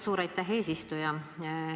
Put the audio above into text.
Suur aitäh, eesistuja!